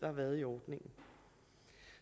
har været i ordningen